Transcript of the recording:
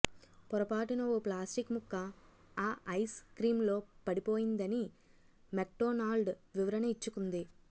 పొరపాటున ఓ ప్లాస్టిక్ ముక్క ఆ ఐస్ క్రీంలో పడిపోయిందని మెక్డోనాల్డ్ వివరణ ఇచ్చుకుంది